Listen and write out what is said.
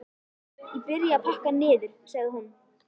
Ég byrja að pakka niður, sagði hún.